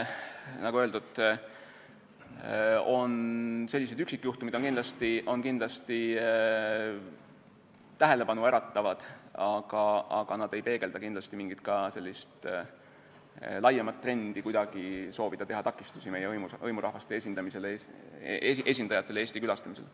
Nagu öeldud, sellised üksikjuhtumid on kindlasti tähelepanu äratavad, aga nad ei peegelda kindlasti mingit laiemat trendi, nagu kuidagi soovitaks teha meie hõimurahvaste esindajatele takistusi Eesti külastamisel.